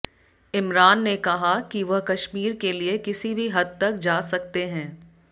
इमरान ने कहा कि वह कश्मीर के लिए किसी भी हद तक जा सकते हैं